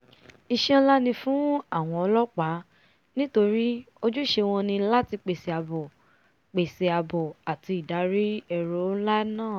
iṣẹ́ nlá ni fún àwọn ọlọ́pàá nítorí ojúṣe wọn ni láti pèsè àbò pèsè àbò àti ìdarí èrò nlá yìí